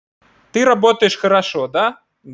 ты работаешь хорошо да